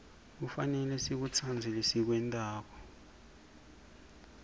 kufanele sikutsandze lesikwentako